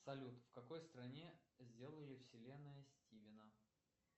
салют в какой стране сделали вселенная стивена